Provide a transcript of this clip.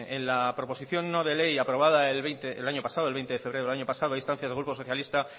en la proposición no de ley aprobada el veinte de febrero del años pasado a instancia del grupo socialista